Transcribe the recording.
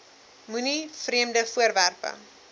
moenie vreemde voorwerpe